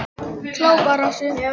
Klapparási